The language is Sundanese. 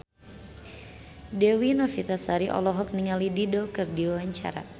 Dewi Novitasari olohok ningali Dido keur diwawancara